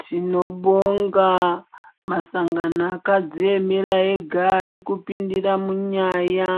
Tinobonga masangano akadziemera ega ari kupindira munyaya